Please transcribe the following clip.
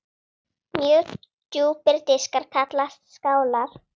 Mjög djúpir diskar kallast skálar.